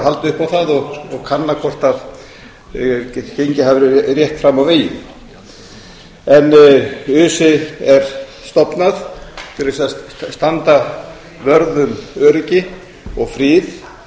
halda upp á það og hvort gengið hafi verið rétt fram á veginn öse er stofnað til þess að landa vörð um öryggi og frið